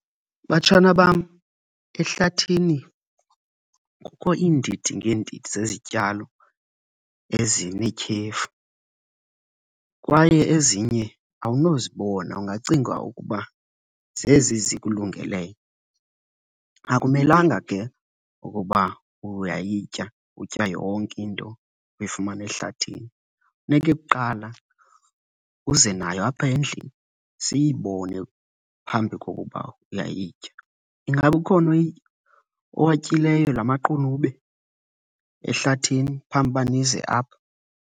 Batshana bam, ehlathini kukho iindidi ngeendidi zezityalo ezinetyhefu kwaye ezinye awunozibona ungacinga ukuba zezi zikulungeleyo. Akumelanga ke ukuba uyayitya utya yonke into oyifumana ehlathini. Funeke kuqala uze nayo apha endlini siyibone phambi kokuba uyayitya. Ingaba ukhona owatyileyo la maqunube ehlathini phambi uba nize apha?